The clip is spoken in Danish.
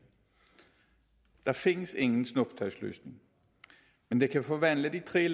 der findes ingen snuptagsløsning der kan forvandle de tre